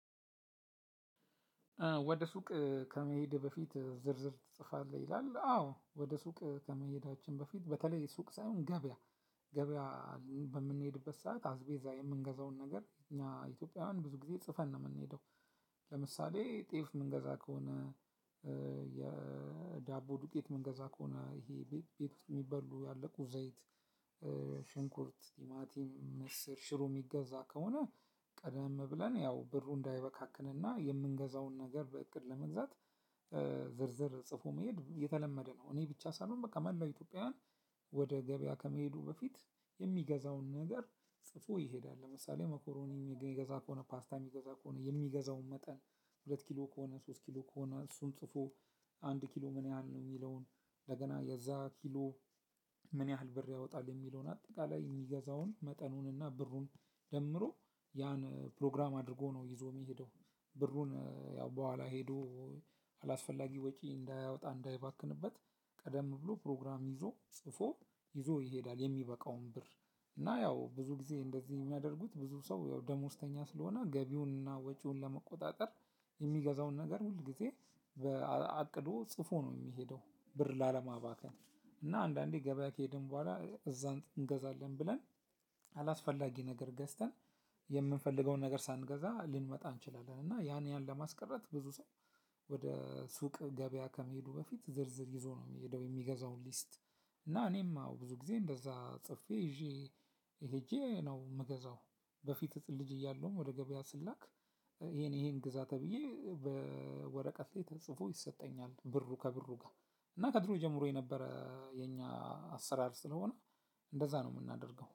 ወደ ሱቅ ከመሄድ በፊት ዝርዝር ትጽፋለህ? ይላል አዎ ወደ ሱቅ ከመሄዳችን በፊት በተለይ ሱቅ ሳይሆን ገበያ ገበያ በምንሄድበት ሰዓት አስቤዛ የምንገዛውን ነገር እኛ ኢትዮጵያውያን ብዙ ጊዜ ጽፈን ነው የምንሄደው። ለምሳሌ ጤፍ የምንገዛ ከሆነ የዳቦ ዱቄት መንገዛ ከሆነ ይሄ ቤት የሚበሉ ያለቁ ዘይት ሽንኩርት ቲማቲም ምስር ሽሮ የሚገዛ ከሆነ። ቀደም ብለን ያው ብሩ እንዳይበካክንና የምንገዛውን ነገር በእቅድ ለመግዛት ዝርዝር ጽፎ መሄድ የተለመደ ነው። እኔ ብቻ ሳልሆን በቃ መላው ኢትዮጵያውያን ወደ ገበያ ከመሄዱ በፊት የሚገዛውን ነገር ጽፎ ይሄዳል። ለምሳሌ መኮሮኒ የሚገዛ ከሆነ ፓስታ የሚገዛ ከሆነ የሚገዛውን መጠን ሁለት ኪሎ ከሆነ ሶስት ኪሎ ከሆነ እሱን ጽፎ አንድ ኪሎ ምን ያህል ነው የሚለውን ለገና የዛ ኪሎ ምን ያህል ብር ያወጣል የሚለውን አጠቃላይ የሚገዛውን መጠኑንና ብሩን ደምሮ ያን ፕሮግራም አድርጎ ነው ይዞ የሚሄደው። ብሩን ያው በኋላ ሄዶ አላስፈላጊ ወጪ እንዳያወጣ እንዳይባክንበት። ቀደም ብሎ ፕሮግራም ይዞ ጽፎ ይዞ ይሄዳል የሚበቃውን ብር። እና ያው ብዙ ጊዜ እንደዚህ የሚያደርጉት ብዙ ሰው ያው ደሞዝተኛ ስለሆነ ገቢውንና ወጪውን ለመቆጣጠር የሚገዛውን ነገር ሁል ጊዜ በአቅዶ ጽፎ ነው የሚሄደው። ብር ላለማባከን እና አንዳንዴ ገበያ ከሄድን በኋላ እዛን እንገዛለን ብለን አላስፈላጊ ነገር ገዝተን የምንፈልገውን ነገር ሳንገዛ ልንመጣ እንችላለን። እና ያን ያን ለማስቀረት ብዙ ሰው ወደ ሱቅ ገበያ ከመሄዱ በፊት ዝርዝር ይዞ ነው የሚሄደው። የሚገዛውን ሊስት እና እኔም ብዙ ጊዜ እንደዛ ጽፌ ይዤ ሄጄ ነው የምገዛው። በፊት ልጅ እያለሁም ወደ ገበያ ስላክ ይሄን ይሄን ግዛት ተብዬ በወረቀት ላይ ተጽፎ ይሰጠኛል። ብሩ ከብሩ ጋር እና ከድሮ ጀምሮ የነበረ የኛ አሰራር ስለሆነ እንደዛ ነው የምናደርገው